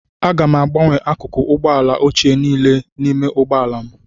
Aga m agbanwe akụkụ ụgbọ ala ochie niile n'ime ụgbọ ala m